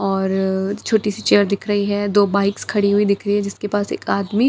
और छोटी सी चेयर दिख रही हैं दो बाइक्स खड़ी हुई दिख रही है जिसके पास एक आदमी--